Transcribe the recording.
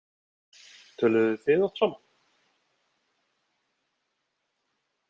Töluðuð þið oft saman?